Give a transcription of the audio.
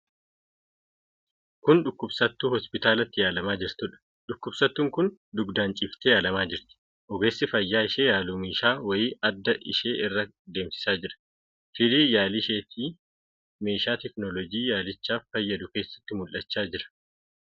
Kun dhukkubsattuu hospitaalatti yaalamaa jirtuudha. Dhukkubsattuun kun dugdaan ciiftee yaalamaa jirti. Ogeessi fayyaa ishee yaalu meeshaa wayii adda ishee irra deemsisaa jira. Firiin yaalii isheetii meeshaa teekinooloojii yaalichaaf fayyadu keessatti mul'achaa jira.